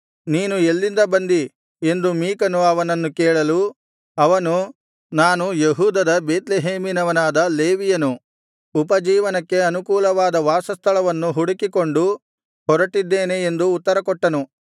ನೀನು ಎಲ್ಲಿಂದ ಬಂದಿ ಎಂದು ಮೀಕನು ಅವನನ್ನು ಕೇಳಲು ಅವನು ನಾನು ಯೆಹೂದದ ಬೇತ್ಲೆಹೇಮಿನವನಾದ ಲೇವಿಯನು ಉಪಜೀವನಕ್ಕೆ ಅನುಕೂಲವಾದ ವಾಸಸ್ಥಳವನ್ನು ಹುಡುಕಿಕೊಂಡು ಹೊರಟಿದ್ದೇನೆ ಎಂದು ಉತ್ತರಕೊಟ್ಟನು